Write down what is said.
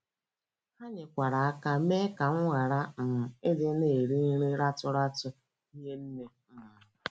“ Ha nyekwara aka mee ka m ghara um ịdị na - eri nri ratụ ratụ hie nne um.